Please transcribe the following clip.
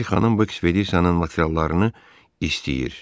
Bir xanım bu ekspedisiyanın materiallarını istəyir.